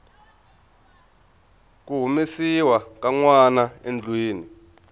ku humesiwa ka nwanaendlwini